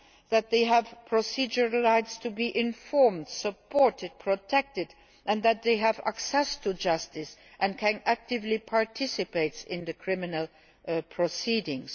that they have procedural rights to be informed, supported and protected, and that they have access to justice and can actively participate in criminal proceedings.